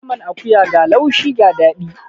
Naman akuya ga laushi ga daɗi.